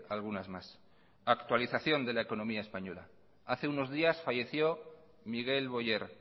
algunas más actualización de la economía española hace unos días falleció miguel boyer